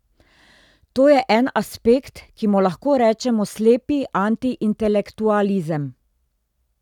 To je en aspekt, ki mu lahko rečemo slepi antiintelektualizem.